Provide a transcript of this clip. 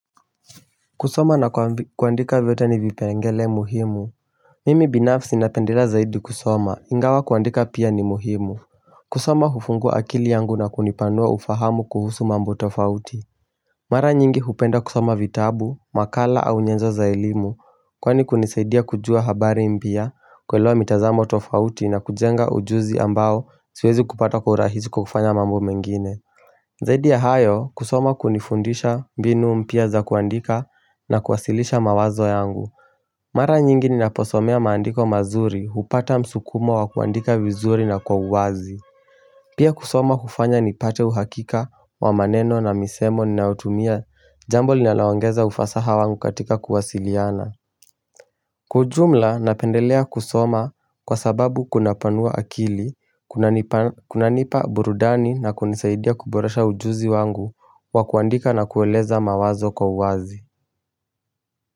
Kusoma na kuandika vyote ni vipengele muhimu. Mimi binafsi napendelea zaidi kusoma ingawa kuandika pia ni muhimu. Kusoma hufungua akili yangu na kunipanua ufahamu kuhusu mambo tofauti. Mara nyingi hupenda kusoma vitabu, nakala au nyenzo za elimu. Kwani kunisaidia kujua habari mpya, kuelewa mitazamo tofauti na kujenga ujuzi ambao siwezi kupata kwa urahisi kwa kufanya mambo mengine. Zaidi ya hayo kusoma hunifundisha mbinu mpya za kuandika na kuwasilisha mawazo yangu. Mara nyingi ninaposoma mandiko mazuri napata msukumo wa kuandika vizuri na kwa uwazi. Pia kusoma hufanya nipate uhakika wa maneno na misemo ninaotumia jambo linaloongeza ufasaha wangu katika kuwasiliana. Kwa ujumla napendelea kusoma kwa sababu kunapanua akili, kunanipa kunanipa burudani na kunisaidia kuboresha ujuzi wangu wa kuandika na kueleza mawazo kwa uwazi.